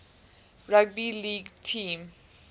rugby league team